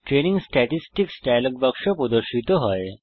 training statistics dialogue বাক্স প্রদর্শিত হয়